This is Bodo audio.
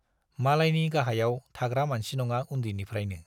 मालायनि गाहायाव थाग्रा मानसि नङा उन्दैनिफ्राइनो।